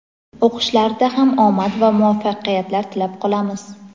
o‘qishlarida ham omad va muvaffaqiyatlar tilab qolamiz!.